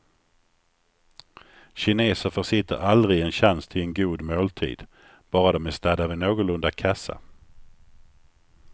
Kineser försitter aldrig en chans till en god måltid, bara de är stadda vid någorlunda kassa.